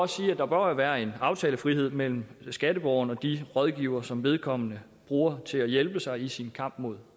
sige at der bør være en aftalefrihed mellem skatteborgeren og de rådgivere som vedkommende bruger til at hjælpe sig i sin kamp mod